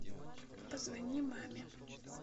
позвони маме